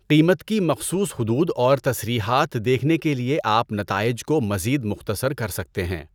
قیمت کی مخصوص حدود اور تصریحات دیکھنے کے لئے آپ نتائج کو مزید مختصر کر سکتے ہیں۔